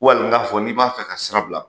Wal n'a fɔ n'i b'a fɛ ka sira bila